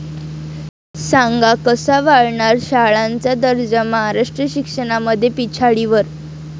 सांगा कसा वाढणार शाळांचा दर्जा? महाराष्ट्र शिक्षणामध्ये पिछाडीवर